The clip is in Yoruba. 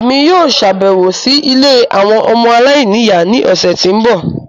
Émi yóò ṣabẹwo si ìlé awọn ọmọ aláìniya ni ọsẹ ti nbọ